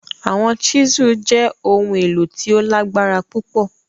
Awọn chisel jẹ ohun elo ti o lagbara pupọ